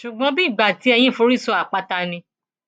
ṣùgbọn bíi ìgbà tí eyín forí sọ àpáta ni